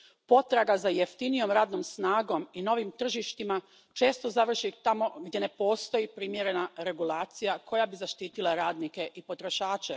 Potraga za jeftinijom radnom snagom i novim tržištima često završi tamo gdje ne postoji primjerena regulacija koja bi zaštitila radnike i potrošače.